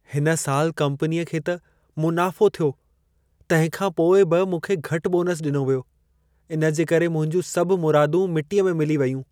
हिन साल कंपनीअ खे त मुनाफ़ो थियो, तंहिं खां पोइ बि मूंखे घटि बोनस ॾिनो वियो। इन जे करे मुंहिंजूं सभु मुरादूं मिटीअ में मिली वेयूं।